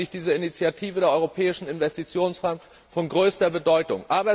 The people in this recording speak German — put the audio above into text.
Deshalb finde ich diese Initiative der Europäischen Investitionsbank von größter Bedeutung.